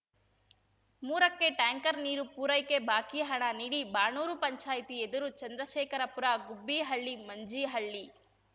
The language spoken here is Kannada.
ಮೂರಕ್ಕೆ ಟ್ಯಾಂಕರ್‌ ನೀರು ಪೂರೈಕೆ ಬಾಕಿ ಹಣ ನೀಡಿ ಬಾಣೂರು ಪಂಚಾಯಿತಿ ಎದುರು ಚಂದ್ರಶೇಖರಪುರ ಗುಬ್ಬೀಹಳ್ಳಿ ಮಂಜೀಹಳ್ಳಿ